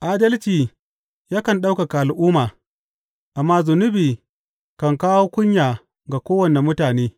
Adalci yakan ɗaukaka al’umma, amma zunubi kan kawo kunya ga kowane mutane.